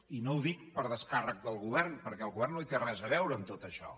i no ho dic per a descàrrec del govern perquè el govern no hi té res a veure en tot això